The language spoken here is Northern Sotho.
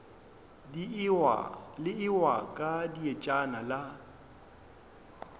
le ewa ka dietšana la